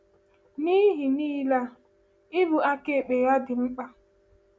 N’ihe niile a, ịbụ aka ekpe ya dị mkpa.